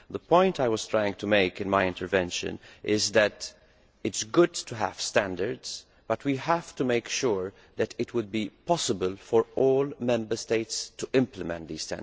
The point I was trying to make in my speech is that it is good to have standards, but we have to make sure that it is possible for all Member States to implement them.